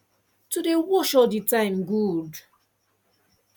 to dey wash all the time good